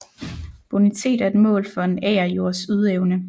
Bonitet er et mål for en agerjords ydeevne